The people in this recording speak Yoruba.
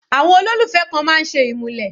Àwọn olólùfẹ́ kan máa ń ṣe ìmúlẹ̀.